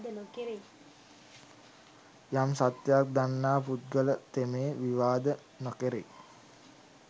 යම් සත්‍යයක් දන්නා පුද්ගල තෙමේ විවාද නොකෙරෙයි.